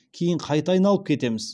кейін қайта айналып кетеміз